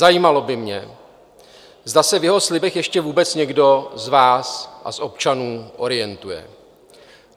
Zajímalo by mě, zda se v jeho slibech ještě vůbec někdo z vás a z občanů orientuje.